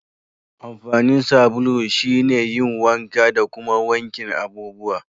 Amfanin sabulu shine yin wanka da kuma wankin abubuwa.